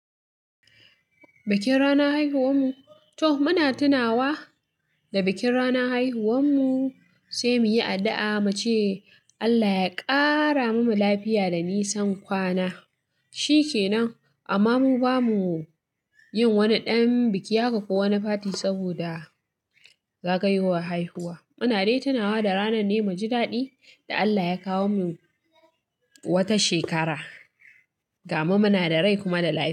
Bikin ranar haihuwar mu, toh muna tunawa da bikin ranar haihuwar mu sai muyi addu'a muce Allah ya ƙara mumu lafiya da nisan kwana. Shi kenan amma muba muyin wani ɗan biki haka kowani fati saboda zagayowar haihuwa. Muna dai tunawa da ranar muji daɗi da Allah ya kawo mu wata shekara. Gamu muna da rai kuma da lafiya.